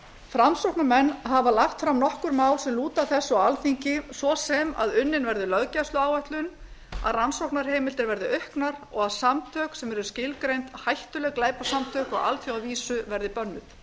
framsóknarmenn hafa lagt fram nokkur mál sem lúta að þessu á alþingi svo sem að unnin verði löggæsluáætlun að rannsóknarheimildir verði auknar og að samtök sem eru skilgreind hættuleg glæpasamtök á alþjóðavísu verði bönnuð